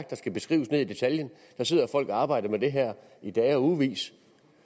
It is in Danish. der skal beskrives ned i detaljen der sidder folk og arbejder med det her i dage og ugevis